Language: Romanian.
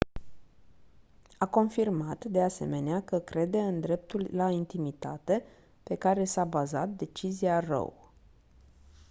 a confirmat de asemenea că crede în dreptul la intimitate pe care s-a bazat decizia roe